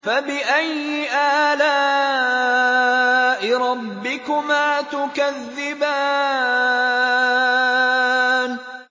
فَبِأَيِّ آلَاءِ رَبِّكُمَا تُكَذِّبَانِ